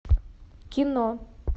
кино